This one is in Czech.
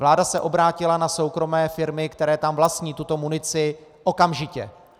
Vláda se obrátila na soukromé firmy, které tam vlastní tuto munici, okamžitě.